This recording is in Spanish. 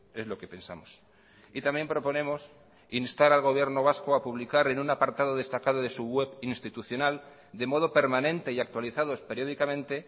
es lo que pensamos y también proponemos instar al gobierno vasco a publicar en un apartado destacado de su web institucional de modo permanente y actualizados periódicamente